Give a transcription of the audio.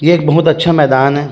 ये एक बहुत अच्छा मैदान हे।